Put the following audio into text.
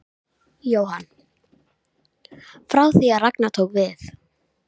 Jóhann: Frá því að Ragnar tók við?